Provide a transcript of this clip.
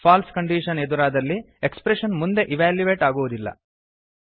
falls condition ಎದುರಾದಲ್ಲಿ expression ಮುಂದೆ evaluate ಆಗುವುದಿಲ್ಲ